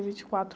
vinte e quatro